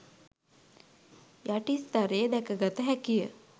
යටි ස්තරයේ දැක ගත හැකිය.